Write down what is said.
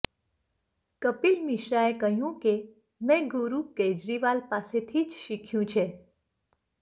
કપિલ મિશ્રાએ કહ્યું કે મેં ગુરૂ કેજરીવાલ પાસેથી જ શીખ્યું છે